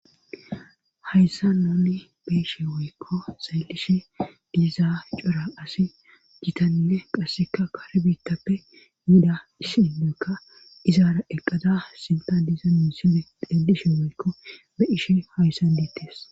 hayssa nuni beeshe woykko sayllishe bieza cora asi gitanne qasseka kare biittappe yida issiduykka izaara eqqada sinta diza minsibe deedishi moykko be ishe hayssan deettes